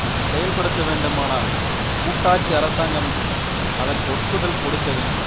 இது செயல்படுத்த வேண்டுமானால் கூட்டாட்சி அரசாங்கம் அதற்கு ஒப்புதல் கொடுக்க வேண்டும்